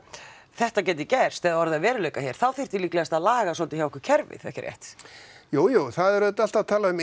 þetta geti gerst eða orðið að veruleika hér þá þyrfti líklegast að laga svolítið hjá okkur kerfið ekki satt jújú það er auðvitað alltaf talað um